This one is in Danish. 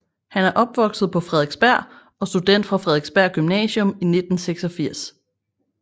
Han er opvokset på Frederiksberg og student fra Frederiksberg Gymnasium 1986